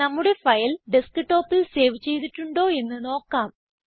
നമ്മുടെ ഫയൽ ഡെസ്ക്ടോപ്പിൽ സേവ് ചെയ്തിട്ടുണ്ടോ എന്ന് നോക്കാം